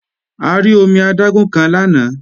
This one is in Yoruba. A rí omi adágún kan lánàá